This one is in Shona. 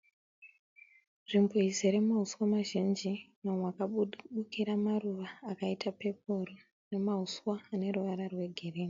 Nzvimbo izere mahuswa mazhinji. Mamwe akabukira maruva akaita peporo nemahuswa ane ruvara rwegirini.